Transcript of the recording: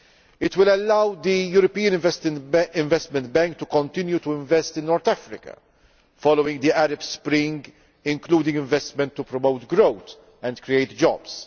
It will allow the European Investment Bank to continue investing in North Africa following the Arab Spring, including investment to promote growth and create jobs.